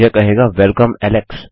यह कहेगा welcome Alex